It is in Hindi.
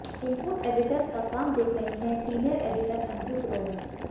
इनपुट एडीटर का काम देख रही हैं सीनियर एडीटर अंजू ग्रोवर